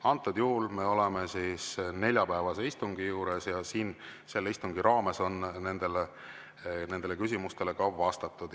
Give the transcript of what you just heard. Antud juhul me oleme neljapäevase istungi juures ja selle istungi raames on nendele küsimustele ka vastatud.